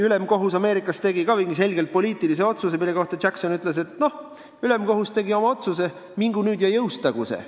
Ülemkohus Ameerikas tegi ka mingi selgelt poliitilise otsuse, mille kohta Jackson ütles, et noh, ülemkohus tegi oma otsuse, mingu nüüd ja jõustagu see.